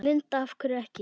Linda: Af hverju ekki?